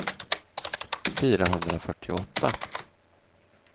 fyrahundrafyrtioåtta